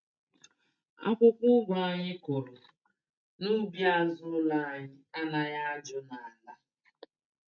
Akwụkwọ ụgụ anyị kụrụ n'ubi azụ ụlọ anyị anaghị ajụ n'ala